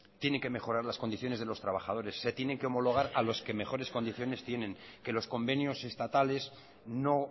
tienen que mejorar las condiciones de los trabajadores se tiene que homologar a los que mejores condiciones tienen que los convenios estatales no